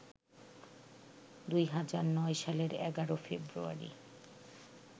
২০০৯ সালের ১১ ফেব্রুয়ারি